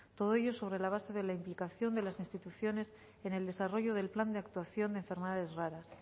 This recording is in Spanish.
todo ello sobre la base de la implicación de las instituciones en el desarrollo del plan de actuación de enfermedades raras